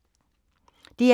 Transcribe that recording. DR2